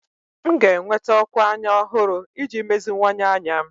M ga-enweta ókwà anya ọhụrụ iji meziwanye anya m.